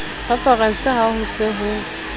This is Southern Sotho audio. referense ha ho se ho